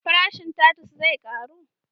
Farashin tatus zai karu?